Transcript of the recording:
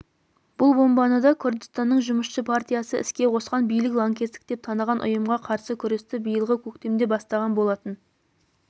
бұл бомбаны да күрдістанның жұмысшы партиясы іске қосқан билік лаңкестік деп таныған ұйымға қарсы күресті биылғы көктемде бастаған болатын